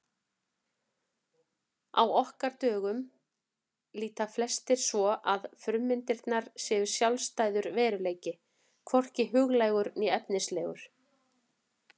Á okkar dögum líta flestir svo að frummyndirnar séu sjálfstæður veruleiki, hvorki huglægur né efnislegur.